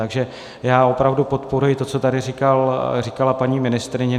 Takže já opravdu podporuji to, co tady říkala paní ministryně.